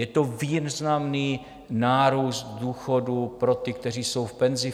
Je to významný nárůst důchodů pro ty, kteří jsou v penzi.